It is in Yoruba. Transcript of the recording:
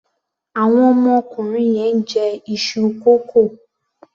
Àwọn ọmọkùnrin yẹn ń jẹ iṣu kókò.